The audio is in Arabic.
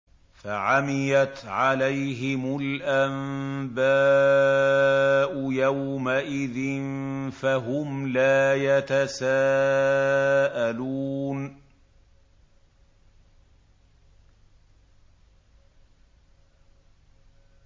فَعَمِيَتْ عَلَيْهِمُ الْأَنبَاءُ يَوْمَئِذٍ فَهُمْ لَا يَتَسَاءَلُونَ